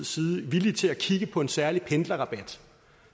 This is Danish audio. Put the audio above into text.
side villige til at kigge på en særlig pendlerrabat